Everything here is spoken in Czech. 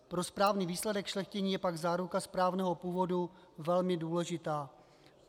Pro správný výsledek šlechtění je pak záruka správného původu velmi důležitá.